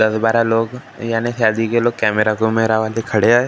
दस-बारह लोग यानी शादिके लोग कैमरे को मेरा वाले खड़े है ।